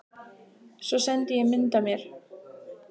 Svo sendi ég mynd af mér.